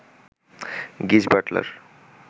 গিজ বাটলার